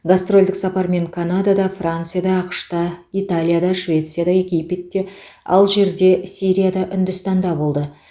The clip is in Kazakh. гастрольдік сапармен канадада францияда ақш та италияда швецияда египетте алжирде сирияда үндістанда болды